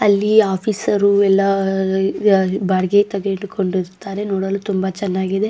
ಅಲ್ಲಿ ಆಫೀಸರ್ ಎಲ್ಲ ಯಾ ಬಾಡಿಗೆ ನೋಡಲು ತುಂಬಾ ಚೆನ್ನಾಗಿದೆ.